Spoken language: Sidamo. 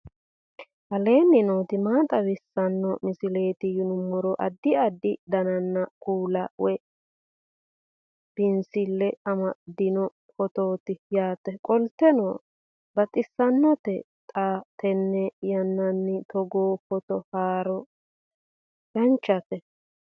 aleenni nooti maa xawisanno misileeti yinummoro addi addi dananna kuula woy biinsille amaddino footooti yaate qoltenno baxissannote xa tenne yannanni togoo footo haara danvchate